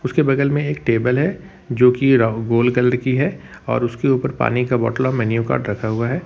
उसके बगल में एक टेबल है जो कि राहुगोल कलर की है और उसके ऊपर पानी का बोतल और मेन्यू कार्ड रखा हुआ है।